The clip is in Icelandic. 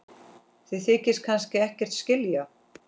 Þið þykist kannski ekkert skilja?